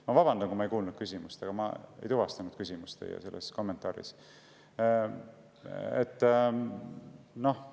Ma vabandan, kui ma küsimust ei kuulnud, aga ma ei tuvastanud teie kommentaaris küsimust.